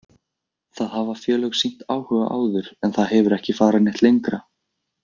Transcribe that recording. Það hafa félög sýnt áhuga áður en það hefur ekki farið neitt lengra.